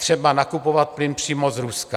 Třeba nakupovat plyn přímo z Ruska.